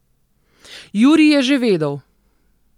Jurij je že vedel.